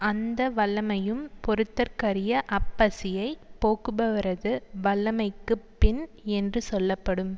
அந்த வல்லமையும் பொறுத்தற்கரிய அப்பசியைப் போக்குபவரது வல்லமைக்குப் பின் என்று சொல்ல படும்